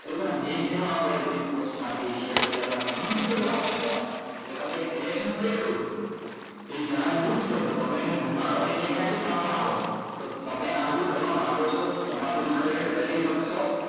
એ લોકો ને bane કરવા પડે બધી post માં થી shear બજાર માંથી ગણું બધું એવી તમે એક કર્યું કે એ જહાજ ડૂબસે તો તમે એને ડુબાડો એની પ્રથાઓ તો તમે આ બધું કરવા માંગો છો તમે આ બધું ખરેખર કરી શકશો